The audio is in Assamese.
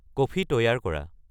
কফি তৈয়াৰ কৰা